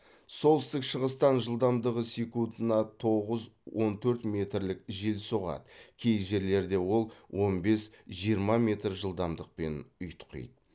солтүстік шығыстан жылдамдығы секундына тоғыз он төрт метрлік жел соғады кей жерлерде ол он бес жиырма метр жылдамдықпен ұйтқиды